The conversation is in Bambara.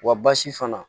Wa basi fana